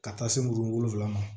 Ka taa se muru wolonfila ma